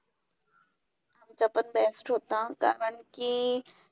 आणि स्वतःची लहानशाही फौज लहानशी फौज नेहमी पदरी बाळगली.